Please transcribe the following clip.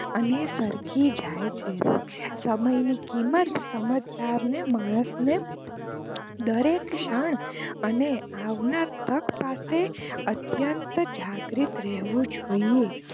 અને સરકી જાય છે સમય ની કિંમત સમજદારને માણ ને દરેક ક્ષણ અને આવનાર તક પાસે અત્યંત જાગૃત રહેવું જોઈએ.